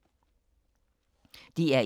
DR1